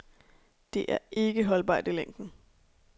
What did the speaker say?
Det er ikke holdbart i længden.